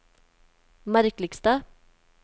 merkeligste